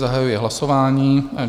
Zahajuji hlasování.